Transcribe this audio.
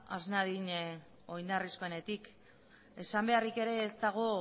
has nadin oinarrizkoenetik esan beharrik ere ez dago